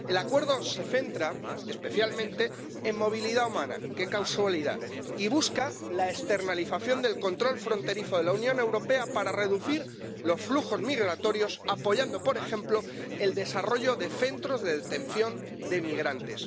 El acuerdo se centra especialmente en movilidad humana —qué casualidad— y busca la externalización del control fronterizo de la Unión Europea para reducir los flujos migratorios apoyando, por ejemplo, el desarrollo de centros de internamiento de migrantes.